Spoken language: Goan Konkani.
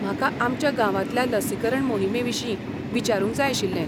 म्हाका आमच्या गांवांतल्या लसीकरण मोहिमेविशीं विचारूंक जाय आशिल्लें.